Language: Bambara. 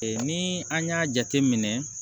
ni an y'a jateminɛ